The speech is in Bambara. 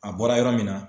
A bɔra yɔrɔ min na